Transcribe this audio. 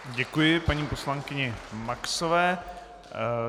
Děkuji paní poslankyni Maxové.